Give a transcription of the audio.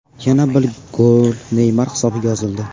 Yana bir gol Neymar hisobiga yozildi.